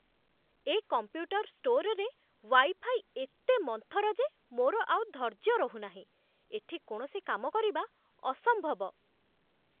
ଏ computer ଷ୍ଟୋର୍ରେ wifi ଏତେ ମନ୍ଥର ଯେ ମୋର ଆଉ ଧୈର୍ଯ୍ୟ ରହୁନାହିଁ। ଏଠି କୌଣସି କାମ କରିବା ଅସମ୍ଭବ।